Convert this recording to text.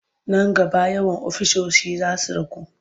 Nan gaba yawan ofisoshi za su ragu.